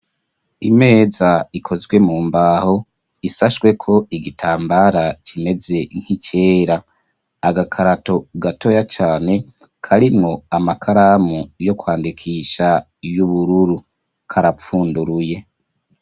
Imeza ikozwe mu mbaho ishashwe ko igitambara kimeze nk'icera. Agakarato gatoya cane karimwo amakaramu yo kwandikisha y'ubururu karapfunduruye.